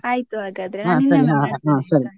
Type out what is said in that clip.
ಆಯ್ತು ಹಾಗಾದ್ರೆ .